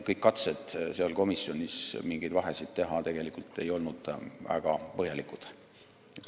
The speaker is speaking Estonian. Kõik katsed komisjonis mingit vahet teha ei olnud tegelikult väga põhjalikud.